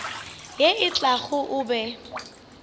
ye e tlago o be